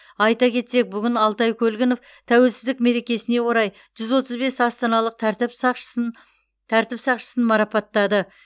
айта кетсек бүгін алтай көлгінов тәуелсіздік мерекесіне орай жүз отыз бес астаналық тәртіп сақшысын марапаттады